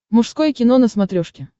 мужское кино на смотрешке